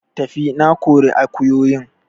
Tafi! Na kori akuyoyin